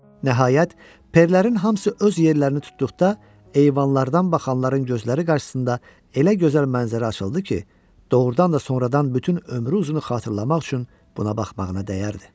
Nəhayət, perlərin hamısı öz yerlərini tutduqda eyvanlardan baxanların gözləri qarşısında elə gözəl mənzərə açıldı ki, doğrudan da sonradan bütün ömrü uzunu xatırlamaq üçün buna baxmağına dəyərdi.